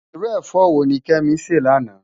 Irú efò wóni Kemi sè láná?